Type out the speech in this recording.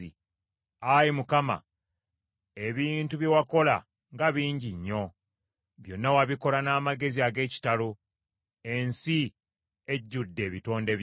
Ayi Mukama , ebintu bye wakola nga bingi nnyo! Byonna wabikola n’amagezi ag’ekitalo; ensi ejjudde ebitonde byo.